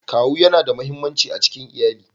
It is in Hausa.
Kawu yana da muhimmanci a cikin iyali.